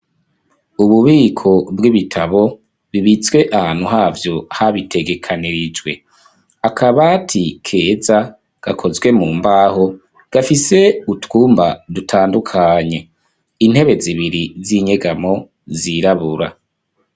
Ububiko bw'ibitabo bibitswe ahantu havyo habitegekanirijwe. Akabati keza gakozwe mu mbaho gafise utwumba dutandukanye. Intebe zibiri z'inyegamo zirabura.